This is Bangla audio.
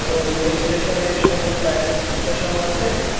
রেলওয়ে স্টেশনে সুন্দর টাইলস বসানো আছে।